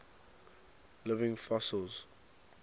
living fossils